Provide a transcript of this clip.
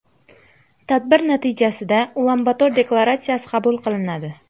Tadbir natijasida Ulan-Bator deklaratsiyasi qabul qilinadi.